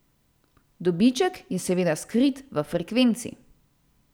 Dobiček je seveda skrit v frekvenci.